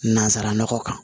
Nanzara nɔgɔ kan